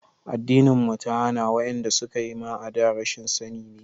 Addinin mu ta hana, wa'yanda suka yi a da ma rashin sani ne.